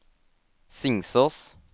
Singsås